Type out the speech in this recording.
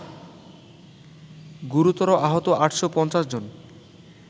গুরুতর আহত ৮৫০ জন